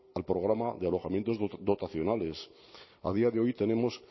al programa de alojamientos dotacionales a día de hoy tenemos